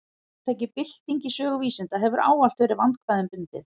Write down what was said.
Hugtakið bylting í sögu vísinda hefur ávallt verið vandkvæðum bundið.